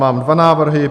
Mám dva návrhy.